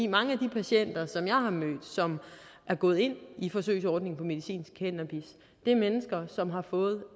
mange af de patienter som jeg har mødt som er gået ind i forsøgsordningen medicinsk cannabis er mennesker som har fået